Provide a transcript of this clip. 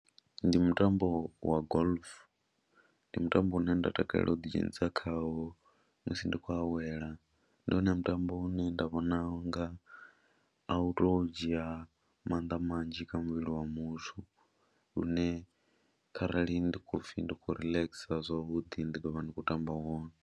Ndi mutambo wa golf, ndi mutambo une nda takalela u ḓidzhenisa khawo musi ndi khou awela ndi wone mutambo une nda vhona nga a u tou dzhia maanḓa manzhi kha muvhili wa muthu lune kharali ndi khou pfhi ndi khou relaxer zwavhuḓi ndi ḓo vha ndi khou tamba wone.